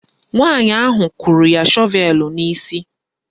Nwaanyị ahụ kụrụ ya shọvelu n'isi